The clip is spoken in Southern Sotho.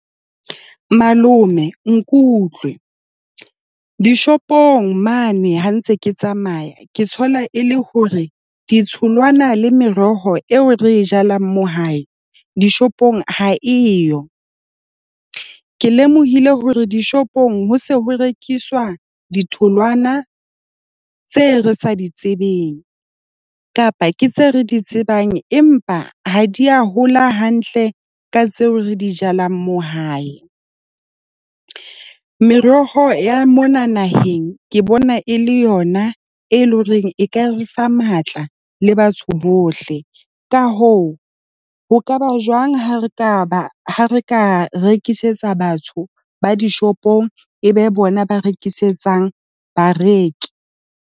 Malome, nkutlwe. Dishopong mane ha ntse ke tsamaya ke thola e le hore ditholwana le meroho eo re e jalang mo hae dishopong ha e yo. Ke lemohile hore dishopong ho se ho rekiswa ditholwana tseo re sa di tsebeng kapa ke tse re di tsebang, empa ha di a hola hantle ka tseo re di jalang mo hae. Meroho ya mona naheng ke bona e le yona e leng hore e ka re fa matla le batho bohle. Ka hoo ho ka ba jwang ha re ka ha re ka rekisetsa batho ba dishopong? E be bona ba rekisetsang bareki.